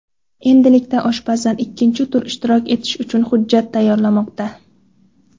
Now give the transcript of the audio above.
Endilikda oshpazlar ikkinchi turda ishtirok etish uchun hujjat tayyorlamoqda.